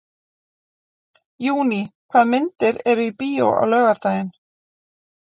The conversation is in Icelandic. Júní, hvaða myndir eru í bíó á laugardaginn?